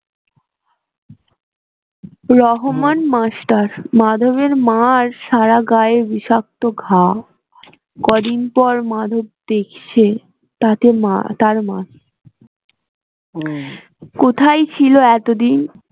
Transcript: Rahman master মাধবের মার সারা গায়ে বিষাক্ত ঘা কদিন পর মাধব দেখছে তাতে মা তার মা কোথায় ছিল এতদিন